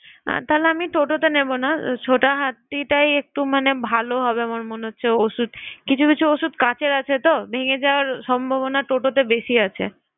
তাহলে আমি toto তে নেবো না, ছোটা হাতিটাই একটু মানে ভালো হবে আমার মনে হচ্ছে। ঔষুধ, কিছু কিছু ঔষুধ কাঁচের আছে তো, ভেঙ্গে যাওয়ার সম্ভাবনা toto তে বেশি আছে।